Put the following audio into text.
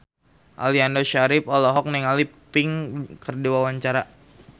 Aliando Syarif olohok ningali Pink keur diwawancara